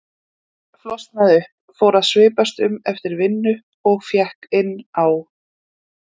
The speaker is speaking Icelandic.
en flosnaði upp, fór að svipast um eftir vinnu og fékk inni á